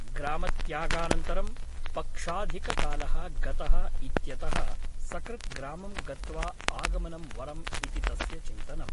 ग्रामत्यागानन्तरं पक्षाधिककालः गतः इत्यतः सकृत् ग्रामं गत्वा आगमनं वरम् इति तस्य चिन्तनम् ।